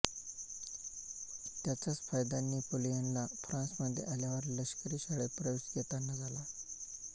त्याचाच फायदा नेपोलियनला फ्रान्समध्ये आल्यावर लष्करी शाळेत प्रवेश घेताना झाला